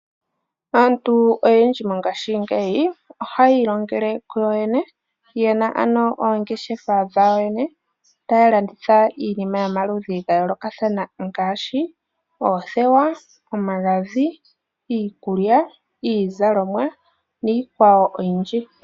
Aantu oyendji mongashingeyi ohaya ilongele kuyoyene, ye na ano oongeshefa dhawo kuyoyene taya landitha iinima yomaludhi ga yoolokathana ngaashi oothewa, omagadhi, iikulya, iizalomwa niikwawo oyindji.